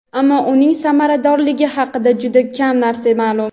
ammo uning samaradorligi haqida juda kam narsa ma’lum.